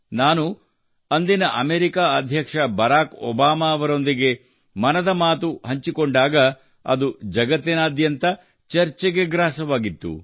ನಾನು ಅಂದಿನ ಅಮೆರಿಕ ಅಧ್ಯಕ್ಷ ಬರಾಕ್ ಒಬಾಮಾ ಅವರೊಂದಿಗೆ ಮನದ ಮಾತು ಹಂಚಿಕೊಂಡಾಗ ಅದು ಜಗತ್ತಿನಾದ್ಯಂತ ಚರ್ಚೆಗೆ ಗ್ರಾಸವಾಗಿತ್ತು